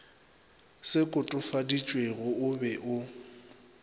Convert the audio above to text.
se kotofaditšwego o be o